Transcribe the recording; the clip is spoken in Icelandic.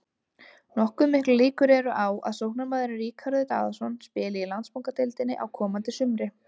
Nokkuð miklar líkur eru á að sóknarmaðurinn Ríkharður Daðason spili í Landsbankadeildinni á komandi sumri.